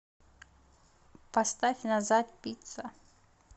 поставь назад пицца